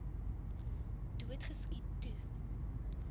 dood geskiet toe